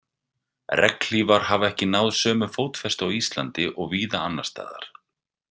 Regnhlífar hafa ekki náð sömu fótfestu á Íslandi og víða annars staðar.